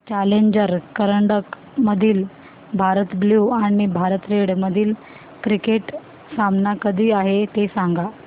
challenger करंडक मधील Bharat blue आणि भारत रेड मधील क्रिकेट सामना कधी आहे ते सांगा